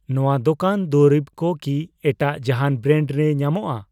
ᱱᱚᱣᱟ ᱫᱚᱠᱟᱱ ᱫᱩᱨᱤᱵ ᱠᱚ ᱠᱤ ᱮᱴᱟᱜ ᱡᱟᱦᱟᱱ ᱵᱨᱮᱱᱰ ᱨᱮ ᱧᱟᱢᱚᱜᱼᱟ?